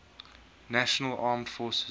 national armed forces